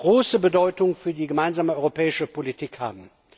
große Bedeutung für die gemeinsame europäische Politik haben.